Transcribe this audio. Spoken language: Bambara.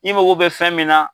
I mago bɛ fɛn min na.